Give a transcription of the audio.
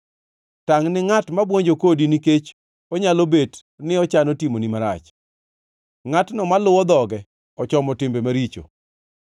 Tangʼ gi ngʼat ma buonjo kodi nikech onyalo bet ni ochano timoni marach, ngʼatno maluwo dhoge ochomo timbe maricho.